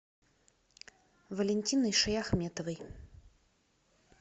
валентиной шаяхметовой